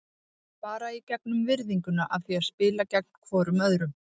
Bara í gegnum virðinguna af því að spila gegn hvorum öðrum.